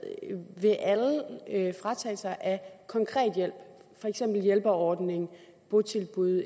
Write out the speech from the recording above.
ved alle fratagelser af konkret hjælp for eksempel hjælperordning botilbud